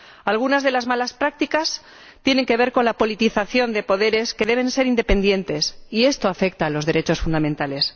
Algunas de las malas prácticas tienen que ver con la politización de los poderes, que deben ser independientes, y esto afecta a los derechos fundamentales.